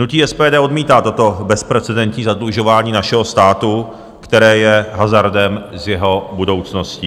Hnutí SPD odmítá toto bezprecedentní zadlužování našeho státu, které je hazardem s jeho budoucností.